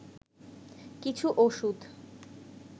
কিছু ওষুধ